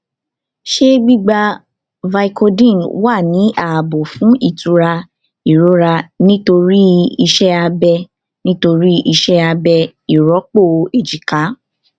ṣé gbígba vicodin wà ní ààbò fún ìtura ìrora nítorí iṣẹ abẹ nítorí iṣẹ abẹ ìrọpò èjìká